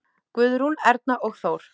Guðrún, Erna og Þór.